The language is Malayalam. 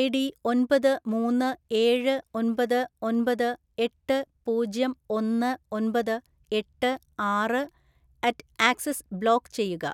ഐഡി ഒൻപത്‌ മൂന്ന്‌ ഏഴ്‌ ഒമ്പത്‌ ഒമ്പത്‌ എട്ട്‌ പൂജ്യം ഒന്ന്‌ ഒമ്പത്‌ എട്ട്‌ ആറ്‌ അറ്റ് ആക്സിസ് ബ്ലോക്ക് ചെയ്യുക.